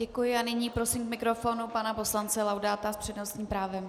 Děkuji a nyní prosím k mikrofonu pana poslance Laudáta s přednostním právem.